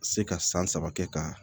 Se ka san saba kɛ ka